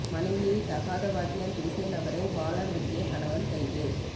மனைவியை தகாத வார்த்தையால் பேசிய நபரை வாளால் வெட்டிய கணவன் கைது